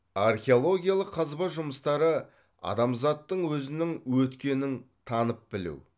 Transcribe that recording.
археологиялық қазба жұмыстары адамзаттың өзінің өткенін танып білу